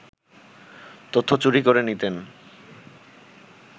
তথ্য চুরি করে নিতেন